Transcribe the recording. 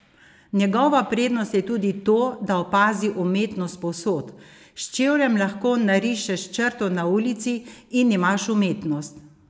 Njegova prednost je tudi to, da opazi umetnost povsod: "S čevljem lahko narišeš črto na ulici in imaš umetnost.